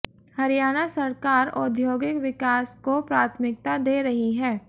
हरियाणा सरकार औद्योगिक विकास को प्राथमिकता दे रही है